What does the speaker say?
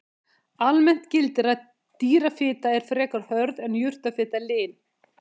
Almennt gildir að dýrafita er frekar hörð en jurtafita lin.